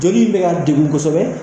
Joli bɛ ka degun kosɛbɛ.